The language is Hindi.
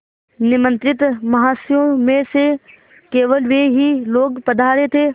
निमंत्रित महाशयों में से केवल वे ही लोग पधारे थे